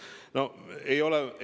No ei ole!